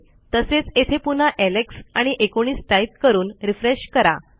तसेच येथे पुन्हा एलेक्स आणि 19 टाईप करून रिफ्रेश करा